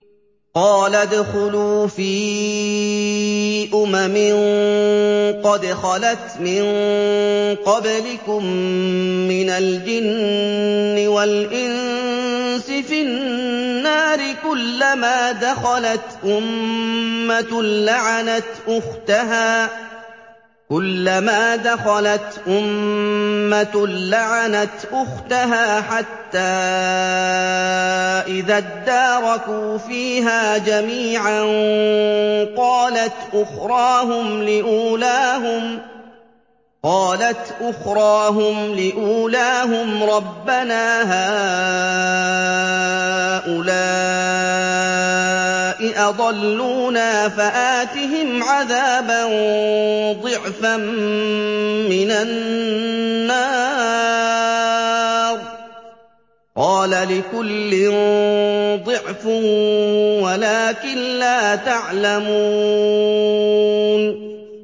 قَالَ ادْخُلُوا فِي أُمَمٍ قَدْ خَلَتْ مِن قَبْلِكُم مِّنَ الْجِنِّ وَالْإِنسِ فِي النَّارِ ۖ كُلَّمَا دَخَلَتْ أُمَّةٌ لَّعَنَتْ أُخْتَهَا ۖ حَتَّىٰ إِذَا ادَّارَكُوا فِيهَا جَمِيعًا قَالَتْ أُخْرَاهُمْ لِأُولَاهُمْ رَبَّنَا هَٰؤُلَاءِ أَضَلُّونَا فَآتِهِمْ عَذَابًا ضِعْفًا مِّنَ النَّارِ ۖ قَالَ لِكُلٍّ ضِعْفٌ وَلَٰكِن لَّا تَعْلَمُونَ